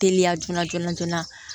Teliya joona joona joona